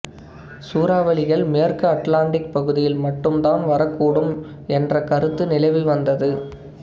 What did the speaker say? சூறாவளிகள் மேற்கு அட்லாண்டிக் பகுதியில் மட்டும் தான் வரக்கூடும் என்ற் கருத்து நிலவி வந்தது